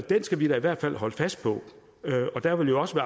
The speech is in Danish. skal vi da i hvert fald holde fast på der vil jo også